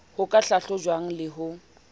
ho ka hlahlojwang le ho